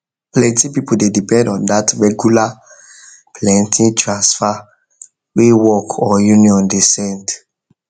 plenty people dey depend on that regular plenty transfer wey work or union dey send